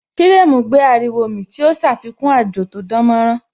Firemu gbé ariwo mì tí ó ṣàfikún àjò tó dánmọ́nrán